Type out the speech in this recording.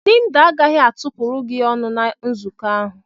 Linda agaghị atụpụrụ gị ọnụ na nzukọ ahụ.